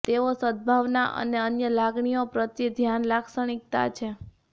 તેઓ સદ્ભાવના અને અન્ય લાગણીઓ પ્રત્યે ધ્યાન લાક્ષણિકતા છે